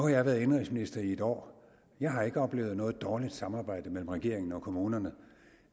jeg været indenrigsminister i et år og jeg har ikke oplevet noget dårligt samarbejdet mellem regeringen og kommunerne